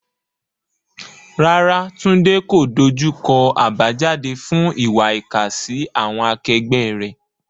Rárá, Tunde kò dojú kọ àbájáde fún ìwà ìkà sí àwọn akẹgbẹ́ rẹ̀.